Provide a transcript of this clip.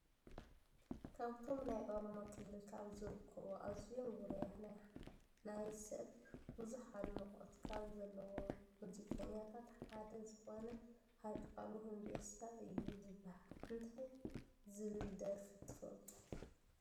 ካብቶም ናይ ኦሮሞ ክልል ካብ ዝርከቡ ኣዝዮም ውርያትን ናይ ሰብ ብዙሕ ኣድናቆት ካብ ዘለዎም ሙዚቀኛታት ሓደ ዝኮነሃጫሉ ሆንዴሳ እዩ ዝብሃል። እንታይ ዝብሃል ደርፉ ትፈልጡ?